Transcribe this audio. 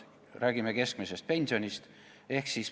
Räägime keskmisest pensionist.